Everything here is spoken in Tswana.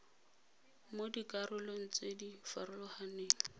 mo dikarolong tse di farologaneng